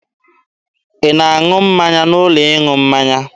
Ị na-aṅụ mmanya n'ụlọ ịṅụ mmanya?